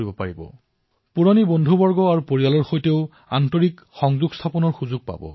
আপোনালোকে নিজৰ পুৰণি বন্ধু আৰু পৰিয়ালৰ সৈতেও জড়িত হোৱাৰ সুযোগ লাভ কৰিব